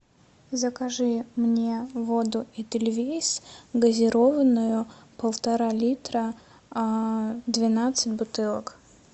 закажи мне воду эдельвейс газированную полтора литра двенадцать бутылок